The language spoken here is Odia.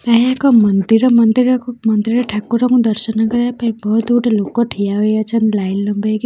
ଏହା ଏକ ମନ୍ଦିର ମନ୍ଦିର କୁ ମନ୍ଦିର ଠାକୁର ଙ୍କୁ ଦର୍ଶନ କରିବା ପାଇଁ ବହୁତ ଗୁଡ଼େ ଲୋକ ଠିଆ ହୋଇଅଛନ୍‌ ଲାଇନ୍‌ ଲମ୍ବେଇକି --